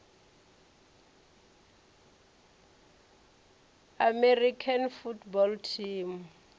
american football team